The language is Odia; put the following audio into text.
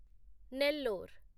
ନେଲ୍ଲୋର